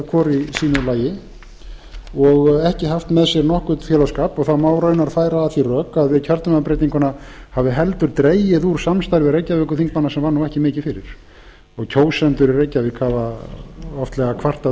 hvor í sínu lagi og ekki haft með sér nokkurn félagsskap og það má raunar færa að því rök að við kjördæmabreytinguna hafi heldur dregið úr samstarfi reykjavíkurþingmanna sem var ekki mikið fyrir og kjósendur í reykjavík hafa oftlega kvartað